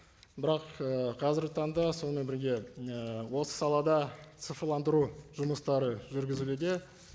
бірақ і қазіргі таңда сонымен бірге і осы салада цифрландыру жұмыстары жүргізілуде